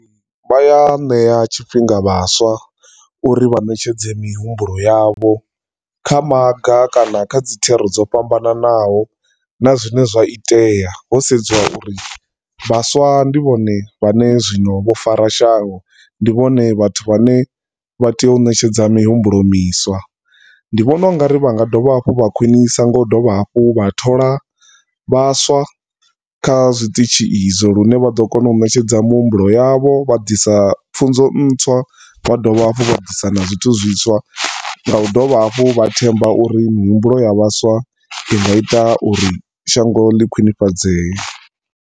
Vha a ṋea tshifhinga vhaswa uri vha ṋetshedze mihumbulo yavho kha maga kana kha dzithero dzo fhambananaho na zwine zwa itea ho sedzwa uri vhaswa ndi vhone vhane zwino vho fara shango, ndi vhone vhathu vhane vha tea u ṋetshedza mihumbulo miswa. Ndi vhona ungari vha nga dovha hafhu vha khwinisa ngo u dovha hafhu vha thola vhaswa kha zwiṱitzhi izwo lune vha ḓo kona u ṋetshedza mihumbulo yavho vha ḓisa pfunzo ṋtswa vha dovha hafhu vha ḓisa na zwithu zwiswa nga u dovha hafhu vha themba uri mihumbulo ya vhaswa inga ita uri shango ḽi khwinifhadzee.